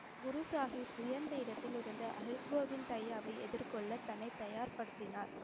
குரு சாஹிப் உயர்ந்த இடத்தில் இருந்த ஹரி கோவிந்த் எதிர்கொள்ளத் தன்னை தயார்படுத்தினார்.